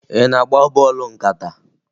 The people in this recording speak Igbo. Ị na-agba bọọlụ nkata?